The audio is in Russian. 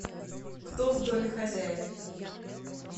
кто в доме хозяин